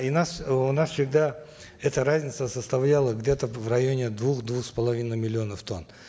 и нас у нас всегда эта разница составляла где то в районе двух двух с половиной миллионов тонн